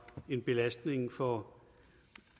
en belastning for